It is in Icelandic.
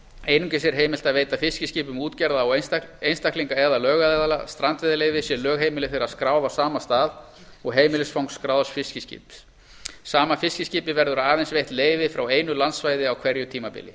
einungis er heimilt að veita fiskiskipum útgerða einstaklinga eða lögaðila strandveiðileyfi sé lögheimili þeirra skráð á sama stað og heimilisfang skráðs fiskiskips sama fiskiskipi verður aðeins veitt leyfi frá einu landsvæði á hverju tímabili